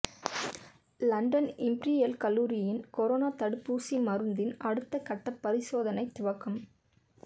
London imperial கல்லூரியின் corona தடுப்பூசி மருந்தின் அடுத்த கட்ட பரிசோதனை துவக்கம்